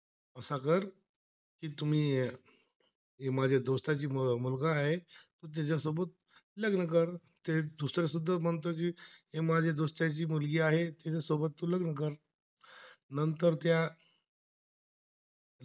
ही माझ्या दोस्त यांची मुलगी आहे, तिच्यासोबत लग्न कर नंतर त्या